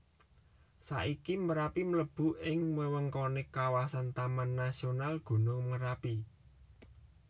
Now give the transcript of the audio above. Saiki Merapi mlebu ing wewengkoné kawasan Taman Nasional Gunung Merapi